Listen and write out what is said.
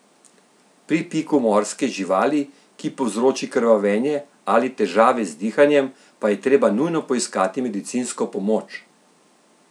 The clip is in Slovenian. Pri piku morske živali, ki povzroči krvavenje ali težave z dihanjem, pa je treba nujno poiskati medicinsko pomoč!